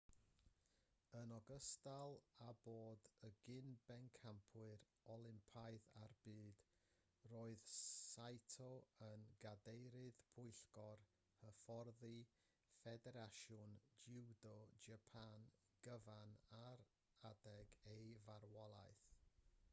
yn ogystal â bod yn gyn-bencampwr olympaidd a'r byd roedd saito yn gadeirydd pwyllgor hyfforddi ffederasiwn jiwdo japan gyfan ar adeg ei farwolaeth